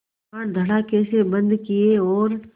किवाड़ धड़ाकेसे बंद किये और